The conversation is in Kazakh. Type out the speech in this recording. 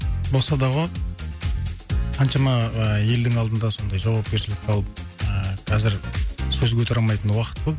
болса да ғой қаншама ыыы елдің алдында сондай жауапкершілік алып ыыы қазір сөз көтере алмайтын уақыт қой